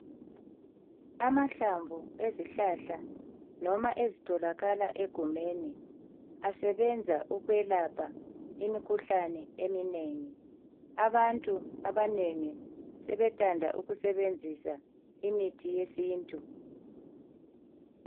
Amahlamvu ezihlahla noma ezitholakala egumeni asebenza ukwelapha imikhuhlane eminengi. Abantu abanengi sebethanda ukusebenzisa imithi yesintu.